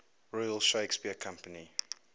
royal shakespeare company